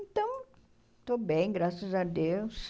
Então, estou bem, graças a Deus.